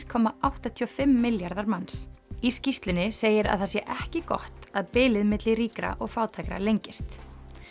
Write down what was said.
komma áttatíu og fimm milljarðar manns í skýrslunni segir að það sé ekki gott að bilið milli ríkra og fátækra lengist